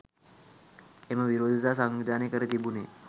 එම විරෝධතා සංවිධානය කර තිබුණේ